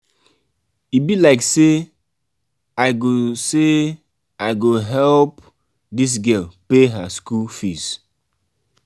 e be like sey i go sey i go help dis girl pay her skool fees.